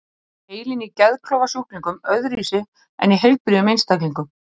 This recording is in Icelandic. Er heilinn í geðklofasjúklingum öðruvísi en í heilbrigðum einstaklingum?